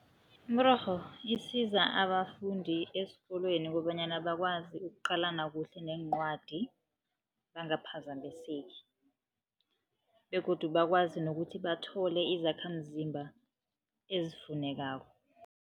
Imirorho isiza abafundi esikolweni kobanyana bakwazi ukuqalana kuhle neencwadi, bangaphazamiseki begodu bakwazi nokuthi bathole izakhamzimba ezifunekako.